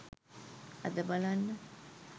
අද බලන්න